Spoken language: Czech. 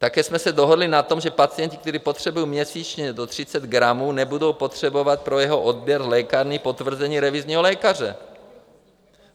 Také jsme se dohodli na tom, že pacienti, kteří potřebují měsíčně do 30 gramů, nebudou potřebovat pro jeho odběr v lékárně potvrzení revizního lékaře.